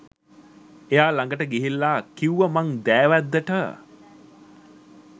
එයා ළඟට ගිහිල්ලා කිව්වා මං දෑවැද්දට